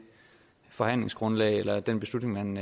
forhandlingsgrundlag eller den beslutning man